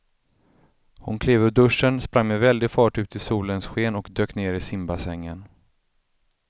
Hon klev ur duschen, sprang med väldig fart ut i solens sken och dök ner i simbassängen.